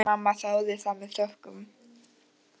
Mamma þáði það með þökkum.